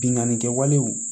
Binganni kɛwalew